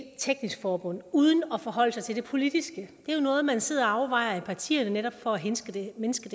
teknisk forbund uden at forholde sig til det politiske det er jo noget man sidder og overvejer i partierne for netop at mindske